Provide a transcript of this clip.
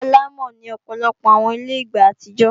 Ilé-àlámọ̀ ni Ọ̀pọ̀lọpọ̀ àwọn ilé ìgbà àtijọ́